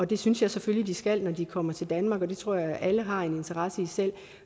det synes jeg selvfølgelig de skal når de kommer til danmark og det tror jeg alle selv har en interesse i